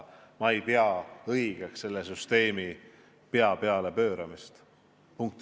Ma ei pea õigeks selle süsteemi pea peale pööramist.